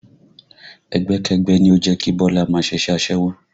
Ẹgbẹ́kẹ́gbẹ́ ni ó jẹ́ kí Bọlá máa ṣiṣẹ́ aṣẹ́wó